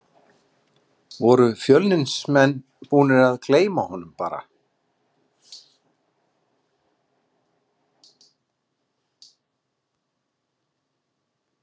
Voru Fjölnismenn búnir að gleyma honum bara?